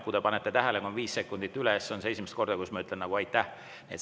Ehk olete tähele pannud, et kui on 5 sekundit üle läinud, siis ütlen ma esimest korda "Aitäh!".